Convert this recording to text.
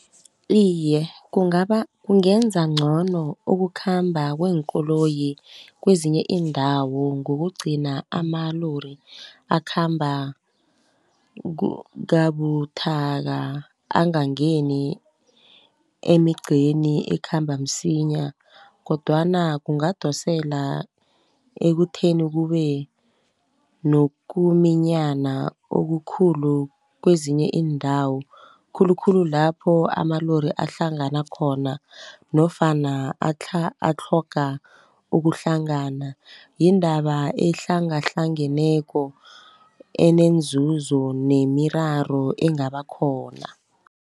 Iye kungenza ngcono ukukhamba kweenkoloyi kwezinye iindawo ngokugcina amalori akhamba kabuthaka, angangeni emigceni ekhamba msinya, kodwana kungadosela ekutheni kube nokuminyana okukhulu kwezinye iindawo. Khulukhulu lapho amalori ahlangana khona, nofana atlhoga ukuhlangana. Yindaba ehlangahlangeneko enenzuzo nemiraro engaba khona.